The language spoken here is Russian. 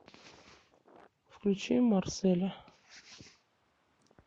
включи марселя